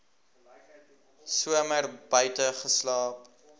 somer buite geslaap